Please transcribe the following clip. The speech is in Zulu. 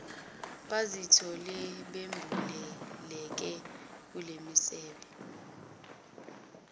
bazithole bembuleleke kulemisebe